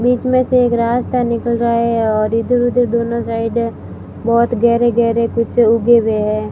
बीच में से एक रास्ता निकल रहा है और इधर उधर दोनों साइड में बहोत गहरे गहरे कुछ उगे हुए हैं।